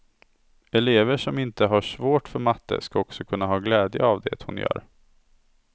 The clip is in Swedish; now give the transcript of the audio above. Elever som inte har svårt för matte ska också kunna ha glädje av det hon gör.